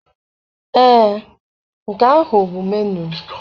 Ee, nke ahụ bụ menuu.